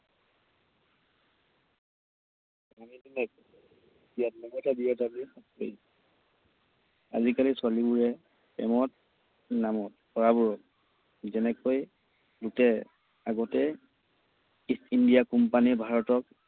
আজিকালি ছোৱালীবোৰে প্ৰেমত নামত লৰাবোৰক যেনেকৈ লুটে, আগতে ইষ্ট ইণ্ডিয়া কোম্পানীয়ে ভাৰতক